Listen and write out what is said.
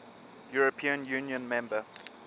european union member